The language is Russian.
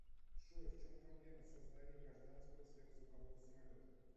джой в чем проблема создания гражданского сверхзвукового самолета